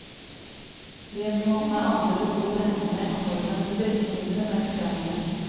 Vi må med andre ord regne med at nordmenn vil drikke mindre melk framover.